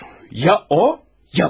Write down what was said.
Ya o, ya mən.